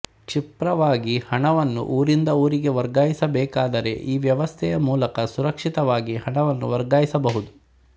ಕ್ಷಿಪ್ರವಾಗಿ ಹಣವನ್ನು ಊರಿಂದ ಊರಿಗೆ ವರ್ಗಾಯಿಸಬೇಕಾದರೆ ಈ ವ್ಯವಸ್ಥೆಯ ಮೂಲಕ ಸುರಕ್ಷಿತವಾಗಿ ಹಣವನ್ನು ವರ್ಗಾಯಿಸಬಹುದು